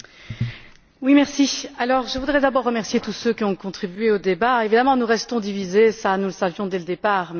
Monsieur le Président, je voudrais d'abord remercier tous ceux qui ont contribué au débat. Évidemment, nous restons divisés, mais nous le savions dès le départ.